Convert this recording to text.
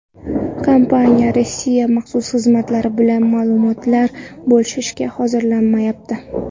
Kompaniya Rossiya maxsus xizmatlari bilan ma’lumotlar bo‘lishishga hozirlanmayapti.